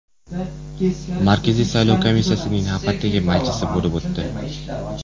Markaziy saylov komissiyasining navbatdagi majlisi bo‘lib o‘tdi.